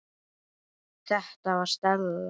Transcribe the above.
Þetta var Stella.